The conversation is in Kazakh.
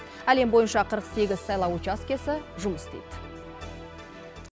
әлем бойынша қырық сегіз сайлау учаскесі жұмыс істейді